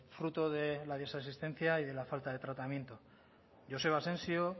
fruto de la desasistencia y de la falta de tratamiento joseba asensio